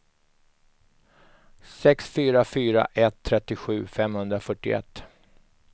sex fyra fyra ett trettiosju femhundrafyrtioett